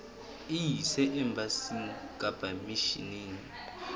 e ise embasing kapa misheneng